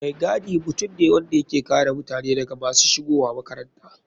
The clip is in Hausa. Mai gadi mutum ne wanda yake kare mutane daga masu shigowa makaranta.